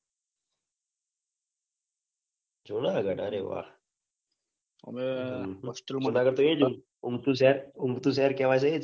જુનાગઢ અરે વાહ જુનાગઢ તો એજ ઊંચું શહેર ઊંચું શહેર કહવાય છે એજ